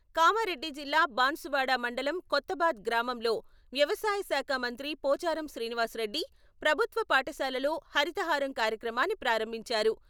కామారెడ్డి జిల్లా బాన్సువాడ మండలం కొత్తబాద్ గ్రామంలో వ్యవసాయశాఖ మంత్రి పోచారం శ్రీనివాస్ రెడ్డి..ప్రభుత్వ పాఠశాలలో హరితహారం కార్యక్రమాన్ని ప్రారంభించారు.